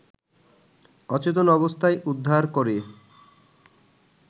অচেতন অবস্থায় উদ্ধার করে